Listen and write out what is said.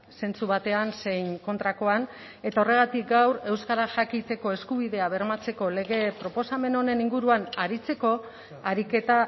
zentzu batean zein kontrakoan eta horregatik gaur euskaraz jakiteko eskubidea bermatzeko lege proposamen honen inguruan aritzeko ariketa